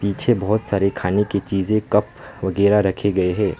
पीछे बहोत सारी खाने की चीज़ें कप वगैरा रखे गए हैं।